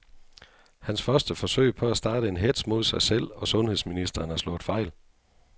Hans første forsøg på at starte en hetz mod sig selv og sundheds ministeren er slået fejl.